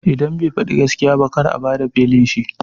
Idan bai faɗi gaskiya ba kar a bada belin shi